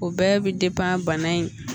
O bɛɛ bɛ bana in